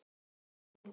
Stefndi á þau.